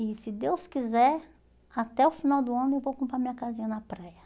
E se Deus quiser, até o final do ano eu vou comprar minha casinha na praia.